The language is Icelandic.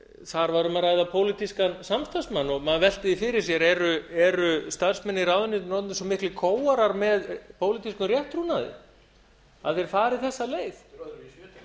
þar var um að ræða pólitískan samstarfsmann og maður veltir því fyrir sér eru starfsmenn í ráðuneytinu orðnir svo miklir kóarar með pólitískum réttrúnaði að þeir fari þessa leið